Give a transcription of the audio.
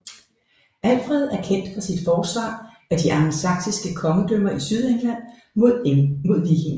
Alfred er kendt for sit forsvar af de angelsaksiske kongedømmer i Sydengland mod vikingerne